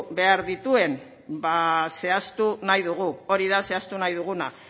behar dituen zehaztu nahi dugu hori da zehaztu nahi duguna